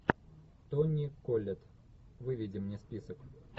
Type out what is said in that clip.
тони коллетт выведи мне список